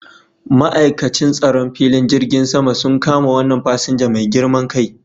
Ma'aikacin tsaron filin jirgin sama un kama wannan fasinja mai girman kai